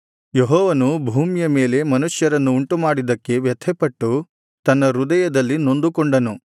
ಯೆಹೋವನು ಭೂಮಿಯ ಮೇಲೆ ಮನುಷ್ಯರನ್ನು ಉಂಟುಮಾಡಿದ್ದಕ್ಕೆ ವ್ಯಥೆಪಟ್ಟು ತನ್ನ ಹೃದಯದಲ್ಲಿ ನೊಂದುಕೊಂಡನು